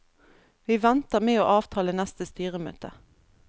Vi venter med å avtale neste styremøte.